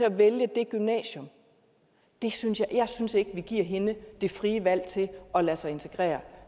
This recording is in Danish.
at vælge det gymnasium jeg synes jeg synes ikke vi giver hende det frie valg til at lade sig integrere